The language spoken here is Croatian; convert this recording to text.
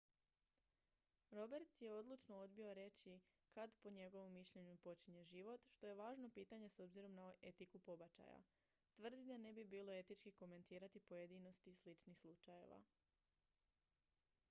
roberts je odlučno odbio reći kad po njegovu mišljenju počinje život što je važno pitanje s obzirom na etiku pobačaja tvrdi da ne bi bilo etički komentirati pojedinosti sličnih slučajeva